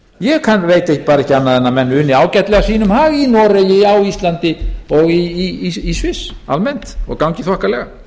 bara ekki annað en menn uni ágætlega sínum hag í noregi á íslandi og í sviss almennt og gangi þokkalega